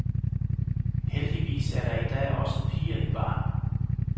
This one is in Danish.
Heldigvis er der i dag også piger i baren.